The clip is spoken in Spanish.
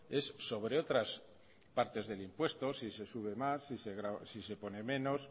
es sobre otras partes del impuesto si se sube más si se pone menos